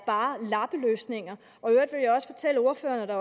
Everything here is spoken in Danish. lappeløsninger og jeg vil også fortælle ordføreren at der